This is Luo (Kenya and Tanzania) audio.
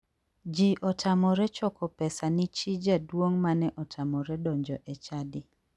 Ji otamore choko pesa ni chi jaduong mane otamore donjo e chadi.